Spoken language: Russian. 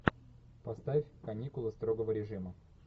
поставь каникулы строгого режима